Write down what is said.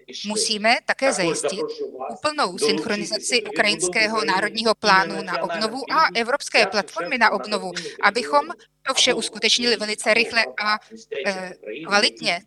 Musíme také zajistit úplnou synchronizaci ukrajinského národního plánu na obnovu a evropské platformy na obnovu, abychom to vše uskutečnili velice rychle a kvalitně.